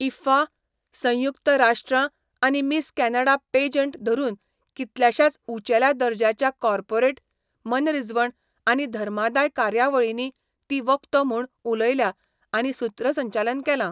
IIFA, संयुक्त राष्ट्रां आनी मिस कॅनडा पॅजंट धरून कितल्याशाच उंचेल्या दर्ज्याच्या कॉर्पोरेट, मनरिजवण आनी धर्मादाय कार्यावळींनी ती वक्तो म्हूण उलयल्या आनी सुत्रसंचालन केलां.